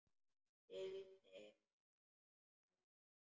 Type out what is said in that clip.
Sigldi fram úr henni.